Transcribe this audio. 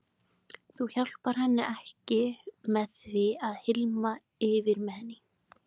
Þú hjálpar henni ekki með því að hylma yfir með henni.